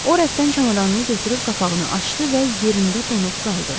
O rəfdən çamadanını götürüb qapağını açdı və yerində donub qaldı.